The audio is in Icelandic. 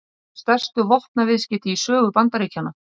Yrðu stærstu vopnaviðskipti í sögu Bandaríkjanna